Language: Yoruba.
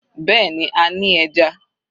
Bẹ́ẹ̀ni, a ní ẹja.